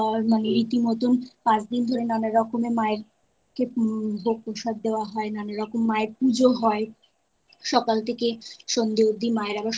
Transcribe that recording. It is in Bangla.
আ ইতিমধ্যে পাঁচদিন ধরে নানা রকমের মায়ের মা কে ভোগ প্রসাদ দেওয়া হয় নানা রকম মায়ের পুজো হয়। সকাল থেকে সন্ধ্যে অবদি মায়ের